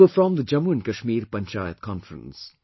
They were from the Jammu & Kashmir Panchayat Conference